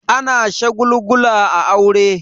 Ana shagulgula a aure.